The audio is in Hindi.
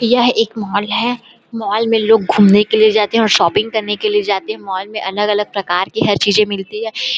यह एक मॉल है मॉल में लोग घूमने के लिए जाते है और शॉपिंग करने के लिए जाते है मॉल में अलग - अलग प्रकार के हर चीजे मिलती है।